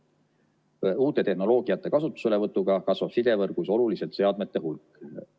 Uute tehnoloogiate kasutuselevõtuga kasvab sidevõrgus oluliselt seadmete hulk.